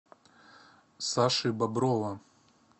саши боброва